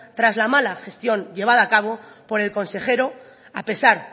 tras la mala gestión llevada a cabo por el consejero a pesar